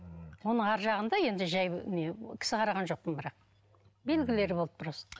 оның арғы жағында енді жай не кісі қараған жоқпын бірақ белгілері болды просто